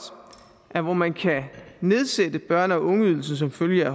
at hvor man kan nedsætte børne og ungeydelsen som følge af